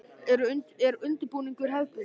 Er undirbúningur hefðbundin?